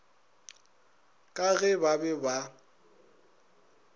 ka ge ba be ba